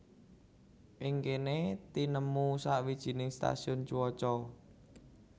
Ing kéné tinemu sawijiné stasiun cuaca